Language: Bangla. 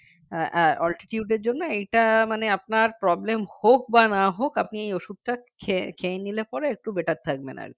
আহ আহ altitude এর জন্য এইটা মানে আপনার problem হোক বা না হোক আপনি ওষুধটা খেয়ে খেয়ে নিলে পরে একটু better থাকবেন আরকি